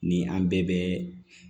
Ni an bɛɛ bɛ